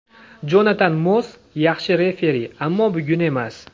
Jonatan Moss yaxshi referi, ammo bugun emas.